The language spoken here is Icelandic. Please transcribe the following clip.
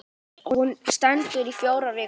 Hún stendur í fjórar vikur.